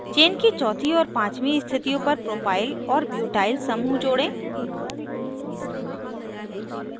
chain की चौथी और पाँचवीं स्थितियों पर propyl और ब्यूटाइल समूह जोड़ें